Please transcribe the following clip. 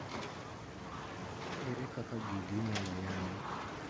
ere kaka gigi inyalo yang